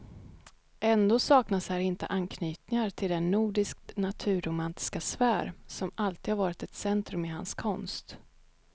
Ändå saknas här inte anknytningar till den nordiskt naturromantiska sfär som alltid har varit ett centrum i hans konst.